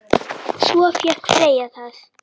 Svo fékk Freyja það.